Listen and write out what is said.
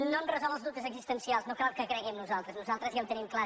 no em resol els dubtes existencials no cal que cregui en nosaltres nosaltres ja ho tenim clar